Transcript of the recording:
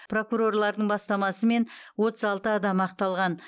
прокурорлардың бастамасымен отыз алты адам ақталған